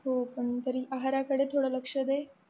हो पण तरी आहाराकडे थोडं लक्ष दे